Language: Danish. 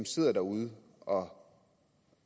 sidder derude og